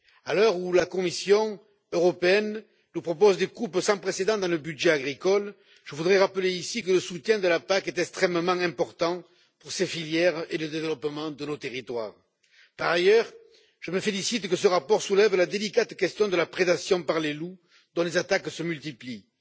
À l'heure où la Commission nous propose des coupes sans précédent dans le budget agricole, je voudrais rappeler ici que le soutien de la PAC est extrêmement important pour ces filières et le développement de nos territoires. Par ailleurs, je me félicite que ce rapport soulève la délicate question de la prédation par les loups dont les attaques se multiplient.